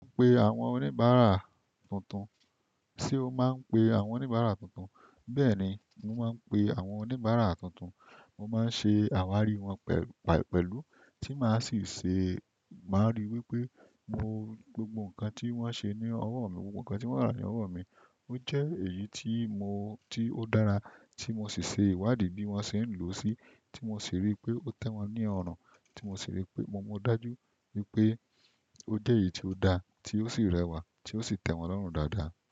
Mo pe àwọn oníbàárà tuntun. Ṣé o máa ń pe àwọn oníbàárà tuntun? Bẹ́ẹ̀ni, mo máa ń pe àwọn oníbàárà tuntun. Mo má ń ṣe àwárí wọn pẹ̀lú, tí màá sì ṣe, màá rí wípé mo gbogbo ǹkan tí wón ṣe ní ọwọ́ mi, gbogbo ǹkan tí wón rà ní ọwọ́ mi. Ó jẹ́ èyí tí mo, tí ó dára tí mo sì ṣe ìwádìí bí wón ṣe ń lò ó sí, tí mo sì rí pé ó tẹ́ wọn ní ọrùn, tí mo sì rí pé mo dájú wípé ó jẹ́ èyí tí ó da, tí ó sì rẹwà, tí ó sì tẹ́ wọn lọ́rùn dáadáa.